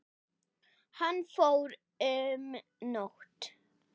Hann fór um nótt.